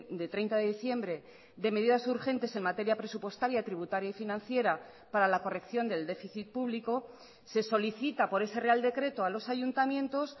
de treinta de diciembre de medidas urgentes en materia presupuestaria tributaria y financiera para la corrección del déficit público se solicita por ese real decreto a los ayuntamientos